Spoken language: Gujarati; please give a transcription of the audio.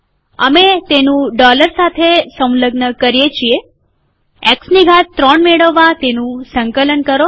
અમે તેનું ડોલર સાથે સંલગ્ન કરીએ છીએ એક્સની ઘાત ૩ મેળવવા તેનું સંકલન કરો